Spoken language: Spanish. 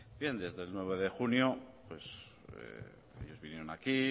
bien desde el nueve de junio ellos vinieron aquí